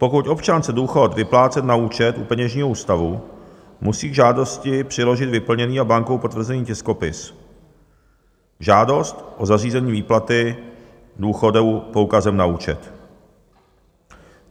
Pokud občan chce důchod vyplácet na účet u peněžního ústavu, musí k žádosti přiložit vyplněný a bankou potvrzený tiskopis žádost o zařízení výplaty důchodu poukazem na účet.